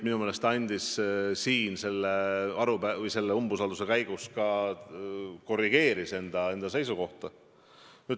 Minu teada ta siin selle umbusalduse arutamise käigus korrigeeris enda seisukohta.